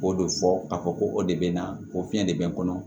K'o de fɔ ka fɔ ko o de bɛ na o fiɲɛ de bɛ n kɔnɔ